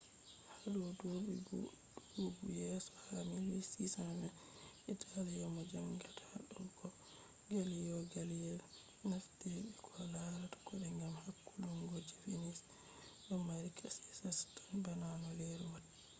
hado dubi dubu yeso ha 1620 italian mo jangata hado kode galileo galeli naftiri be koh larata kode gam hakkulungo je venus do mari kashi kasha tan bana no leru watta